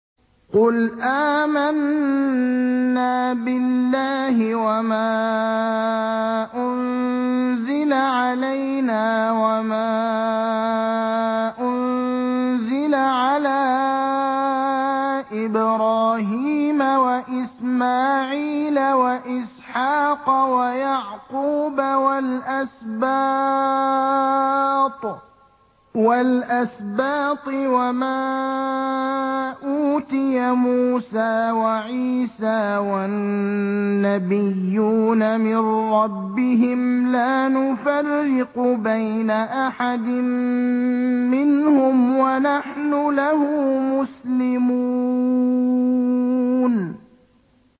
قُلْ آمَنَّا بِاللَّهِ وَمَا أُنزِلَ عَلَيْنَا وَمَا أُنزِلَ عَلَىٰ إِبْرَاهِيمَ وَإِسْمَاعِيلَ وَإِسْحَاقَ وَيَعْقُوبَ وَالْأَسْبَاطِ وَمَا أُوتِيَ مُوسَىٰ وَعِيسَىٰ وَالنَّبِيُّونَ مِن رَّبِّهِمْ لَا نُفَرِّقُ بَيْنَ أَحَدٍ مِّنْهُمْ وَنَحْنُ لَهُ مُسْلِمُونَ